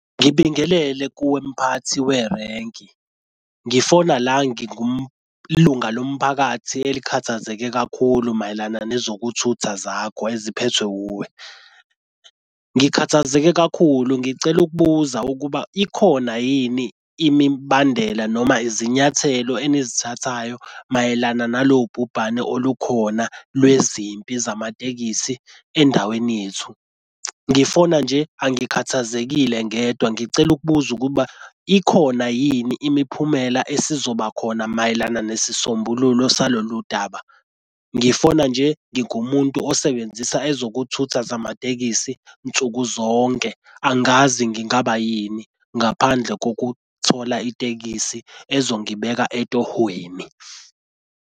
Ngibingelele kuwe mphathi werenki, ngifona la lunga lomphakathi elikhathazeke kakhulu mayelana nezokuthutha zakho eziphethwe wuwe. Ngikhathazeke kakhulu ngicela ukubuza ukuba ikhona yini imibandela noma izinyathelo enizithathayo mayelana nalobhubhane olukhona lwezimpilo zamatekisi endaweni yethu. Ngifona nje angikhathazekile ngedwa ngicela ukubuza ukuba ikhona yini imiphumela esizoba khona mayelana nesisombululo salolu daba. Ngifona nje ngingumuntu osebenzisa ezokuthutha zamatekisi nsuku zonke. Angazi ngingaba yini ngaphandle kokuthola itekisi ezongibheka etohhweni.